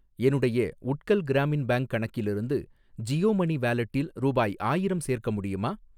என்னுடைய உட்கல் கிராமின் பேங்க் கணக்கிலிருந்து ஜியோ மனி வாலெட்டில் ரூபாய் ஆயிரம் சேர்க்க முடியுமா?